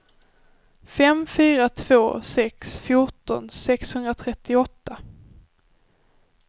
fem fyra två sex fjorton sexhundratrettioåtta